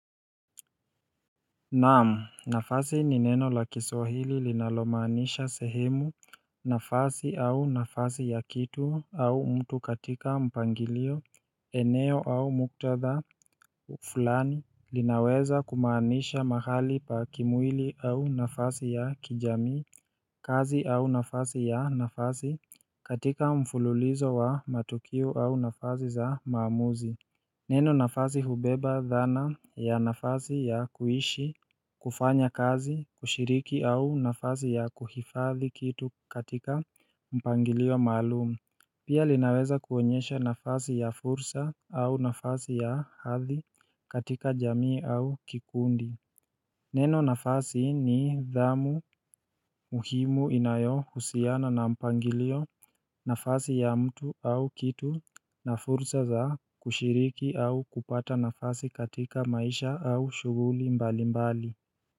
Naam nafasi ni neno la kiswahili linalomaanisha sehemu nafasi au nafasi ya kitu au mtu katika mpangilio eneo au muktadha fulani. Linaweza kumaanisha mahali pa kimwili au nafasi ya kijamii kazi au nafasi ya nafasi katika mfululizo wa matukio au nafasi za maamuzi Neno nafasi hubeba dhana ya nafasi ya kuishi kufanya kazi kushiriki au nafasi ya kuhifadhi kitu katika mpangilio maalumu Pia linaweza kuonyesha nafasi ya fursa au nafasi ya hathi katika jamii au kikundi Neno nafasi ni dhamu muhimu inayo husiana na mpangilio nafasi ya mtu au kitu na fursa za kushiriki au kupata nafasi katika maisha au shughuli mbali mbali.